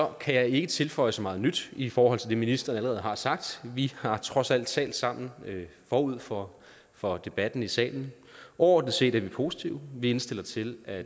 kan jeg ikke tilføje så meget nyt i forhold til det ministeren allerede har sagt vi har trods alt talt sammen forud for for debatten i salen overordnet set er vi positive vi indstiller til at